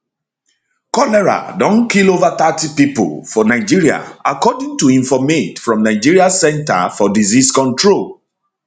cholera don kill kill ova thirty pipo for nigeria according to informate from nigeria centre for disease control